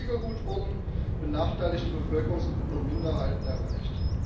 Weniger gut wurden benachteiligte Bevölkerungsgruppen und Minderheiten erreicht.